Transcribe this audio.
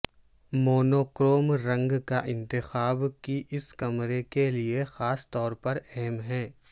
monochrome رنگ کا انتخاب کی اس کمرے کے لئے خاص طور پر اہم ہے